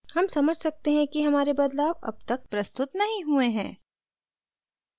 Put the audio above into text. हम समझ सकते हैं कि हमारे बदलाव अब तक प्रस्तुत नहीं हुए हैं